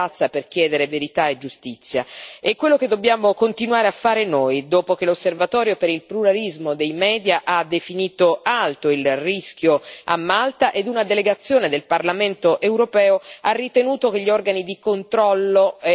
È quello che dobbiamo continuare a fare noi dopo che l'Osservatorio per il pluralismo dei media ha definito alto il rischio a Malta ed una delegazione del Parlamento europeo ha ritenuto che gli organi di controllo e giudiziari siano politicizzati.